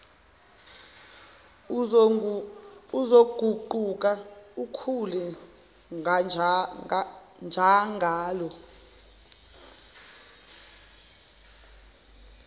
uzoguquka ukhule njangalo